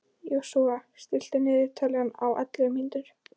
Joshua, stilltu niðurteljara á ellefu mínútur.